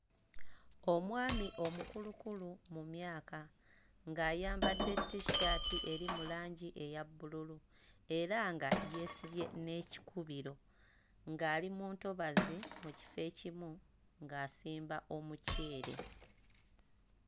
Omwami omukulukulu mu myaka ng'ayambadde t-shirt eri mu langi eya bbululu era nga yeesibye n'ekukubiro ng'ali mu ntobazi mu kifo ekimu ng'asimba omuceere.